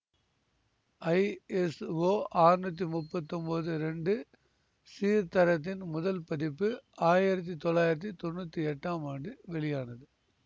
ISO அறுநூற்றி முப்பத்தி ஒன்பது இரண்டு சீர்தரத்தின் முதல் பதிப்பு ஆயிரத்தி தொள்ளாயிரத்தி தொன்னூற்தி எட்டாம் ஆண்டு வெளியானது